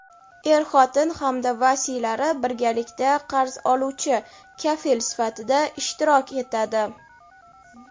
er-xotin hamda vasiylari birgalikda qarz oluvchi (kafil) sifatida ishtirok etadi.